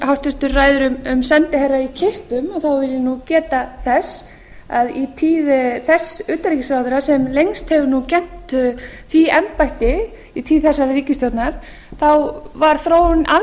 háttvirti ræðir um sendiherra í kippum þá vil ég nú geta þess að í tíð sex utanríkisráðherra sem lengst hafa nú gegnt því embætti í tíð þessarar ríkisstjórnar þá var þróunin alls ekki